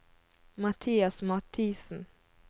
Mathias Mathisen